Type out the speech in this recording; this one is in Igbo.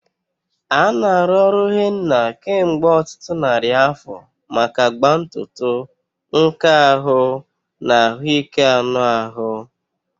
A na-arụ ọrụ Henna kemgbe ọtụtụ narị afọ maka agba ntutu, nka ahụ, na ahụike anụ ahụ.